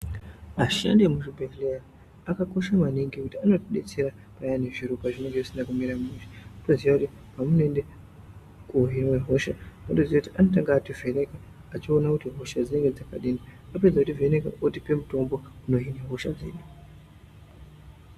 Ashandi emu zvibhedhleya aka kosha maningi ngekuti anoti detsera payani zviro pazvinenge zvisina kumira mushe wotoziya kuti pamuno ende kohinwa hosha unotoziya kuti anotanga ati vheneka achiona kuti hosha dzinenge dzakadini apedza kuti vheneka otipa mutombo dzino hina hosha dzedu.